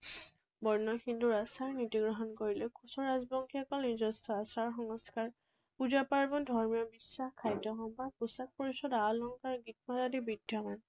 বৰ্ণ হিন্দু আচাৰ নীতি গ্ৰহণ কৰিলেও কোচ ৰাজবংশীসকল নিজস্ব আচাৰ সংস্কাৰ, পূজা পাৰ্বন, ধৰ্মীয় বিশ্বাস, খাদ্য সম্ভাৰ, পোছাক পৰিচ্ছদ, আ অলংকাৰ, গীত মাত আদিত বিদ্যমান।